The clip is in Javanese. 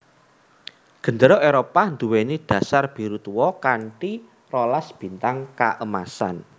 Gendéra Éropah nduwèni dasar biru tua kanthi rolas bintang kaemasan